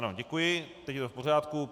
Ano, děkuji, teď je to v pořádku.